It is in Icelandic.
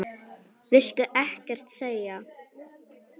Viltu ekkert segja?